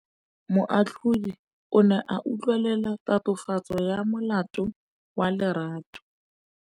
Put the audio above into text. Moatlhodi o ne a utlwelela tatofatsô ya molato wa Lerato.